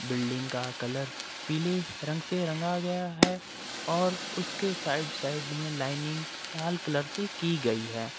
Building का colour पीले रंग से रंगा गया है और उसके साइड साइड में लाइनिंग लाल कलर से की गई है।